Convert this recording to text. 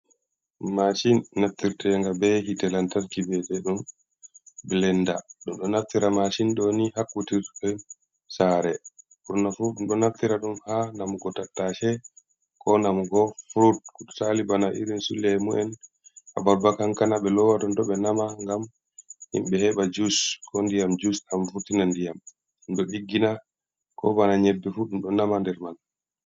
Mashin naftirtenga be hitee lantarki ɓe'iteɗum blenda, ɗum ɗo naftira mashin ɗo ni ha kutirɗe sare ɓurna fu ɗo naftira ɗum ha namugo tattashe ko namugo frut misali bana irin su lemu'en abarba, kankana, be lowa tonton ɓe nama gam himɓe heɓa jus ko ndiyam jus ɗam vurtina ndiyam ɗum ɗo ɗiggina ko bana nyebbe fu ɗum ɗo nama nder man.